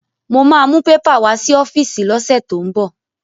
Mo ma mú pépà wá sí ọ́fíìsì lọ́sẹ̀ tó ń bọ̀